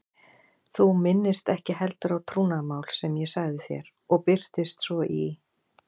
Þú minnist ekki heldur á trúnaðarmál sem ég sagði þér og birtist svo í